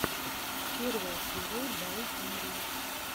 первая серия бай пингви